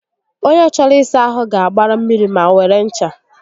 Ònye chọrọ ịsa ahụ ga-agbara mmiri ma were ncha